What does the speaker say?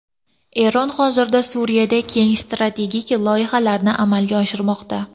Eron hozirda Suriyada keng strategik loyihalarni amalga oshirmoqda.